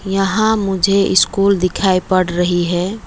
यहां मुझे स्कूल दिखाई पड़ रही है।